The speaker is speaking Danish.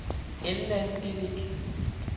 Elna Celik